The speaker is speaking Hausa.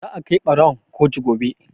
Za a kai ɓarawon kotu gobe.